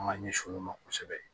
An ka ɲɛsin olu ma kosɛbɛ